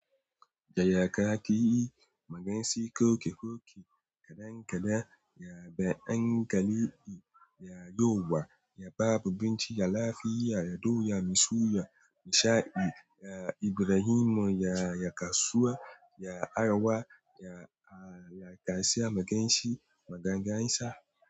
Yaya kake yi? Magensi koke koke kadan kadan yabe angali yi yayowa yaba bubinci yala fiya yado yamiso yamisha yi ya Ibrahim ya yakasuwa ya arawa ya a yakasiya magensi magangansa.